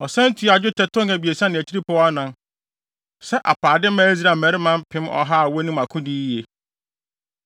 Ɔsan tuaa dwetɛ tɔn 3.4 sɛ apaade maa Israel mmarima mpem ɔha a wonim akodi yiye.